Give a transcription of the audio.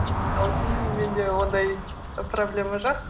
сосын менде ондай проблема жоқ